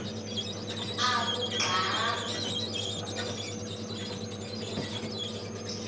akugcame